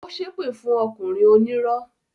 Ó ṣépè fún ọkùnrin onírọ́